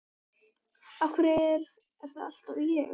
Af hverju er það alltaf ég?